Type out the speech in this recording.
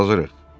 Hazırıq.